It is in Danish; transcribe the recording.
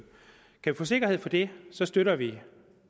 kan vi få sikkerhed for det støtter vi